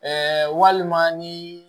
walima ni